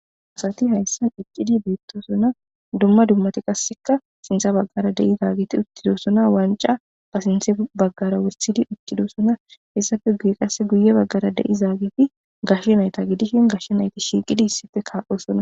Aasati hayssan iccidi beettosona dumma dummati qasseka sintha baggara de'i zaageti uttidosona wanca pasinthe baggara wusidi uttidosona hessafe guye qasse guye baggara de'i zaageti gashshe nayta gidishin gashshe nayti shiiqidi hissife kaa'osona.